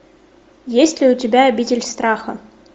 есть ли у тебя обитель страха